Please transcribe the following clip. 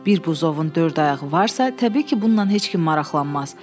Bir buzovun dörd ayağı varsa, təbii ki, bununla heç kim maraqlanmaz.